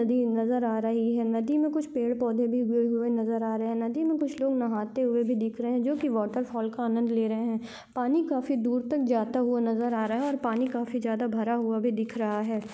नदी नजर आ रही है नदी मे कुछ पेड़ पौधे भी उगे हुए नजर आ रहे नदी मे कुछ लोग नहाते हुए भी दिख रहे जो की वॉटर फॉल का आनंद ले रहे है पानी काफी दूर तक जाता हुआ नजर आ रहा है और पानी काफी ज्यादा भरा हुआ भी दिख रहा है।